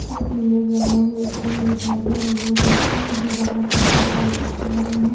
इस इमेज में मुझे एक जिम दिखाई दे रही है जिसकी दीवालों पे बोहोत सारे फोटो लगे हैं।